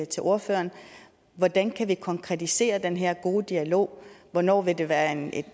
til ordføreren hvordan kan vi konkretisere den her gode dialog hvornår vil det være en